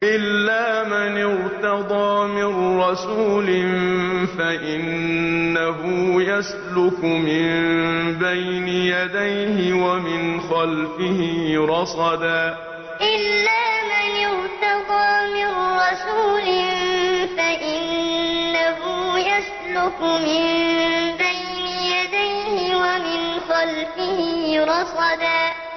إِلَّا مَنِ ارْتَضَىٰ مِن رَّسُولٍ فَإِنَّهُ يَسْلُكُ مِن بَيْنِ يَدَيْهِ وَمِنْ خَلْفِهِ رَصَدًا إِلَّا مَنِ ارْتَضَىٰ مِن رَّسُولٍ فَإِنَّهُ يَسْلُكُ مِن بَيْنِ يَدَيْهِ وَمِنْ خَلْفِهِ رَصَدًا